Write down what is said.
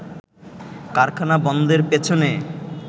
কারখানা বন্ধের পেছনে